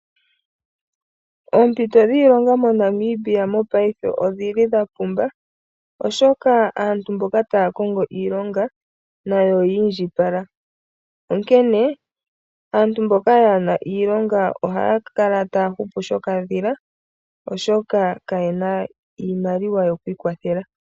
Oompito dhiilonga moNamibia mongashingeyi odhili dha pumba oshoka aantu mboka taya kongo iilonga nayo oyi indjipala. Onkene aantu mboka kaayena iilonga ohaya kala taya hupu shokadhila oshoka kayena iimaliwa yoku ikwathela.